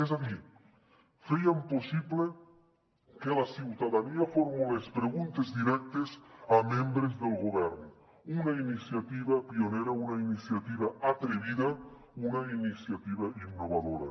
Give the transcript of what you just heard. és a dir fèiem possible que la ciutadania formulés preguntes directes a membres del govern una iniciativa pionera una iniciativa atrevida una iniciativa innovadora